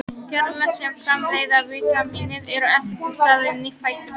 Gerlar sem framleiða vítamínið eru ekki til staðar í nýfæddum börnum.